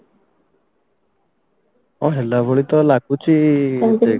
ଅ ହେଲା ଭଳି ତ ଲାଗୁଛି ମୋତେ